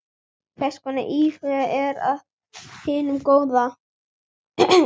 Hvers konar íhugun er af hinu góða.